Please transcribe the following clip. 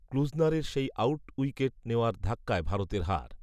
ক্লূজনারের সেই out wicket নেওয়ার ধাক্কায় ভারতের হার